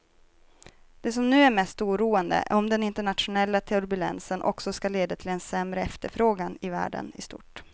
Det som nu är mest oroande är om den internationella turbulensen också ska leda till en sämre efterfrågan i världen i stort.